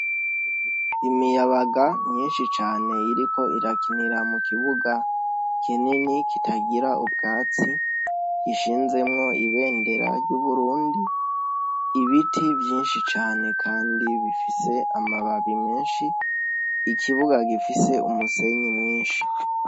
Imiyabaga myinshi cane iriko irakinira mu kibuga kinini kitagira ubwatsi ishinzemwo ibendera ry'Uburundi. Ibiti vyinshi cane kandi bifise amababi menshi. Ikibuga gifise umusenyi mwinshi.